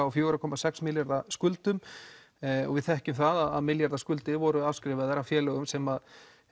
á fjóra komma sex milljarða skuldum og við þekkjum það að milljarða skuldir voru afskrifaðar af félögum sem